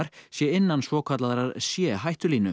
sé innan svokallaðrar c